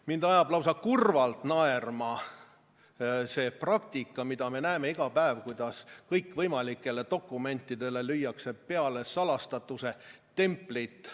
Mind ajab lausa kurvalt naerma see praktika, mida me näeme iga päev, kuidas kõikvõimalikele dokumentidele lüüakse peale salastatuse templit.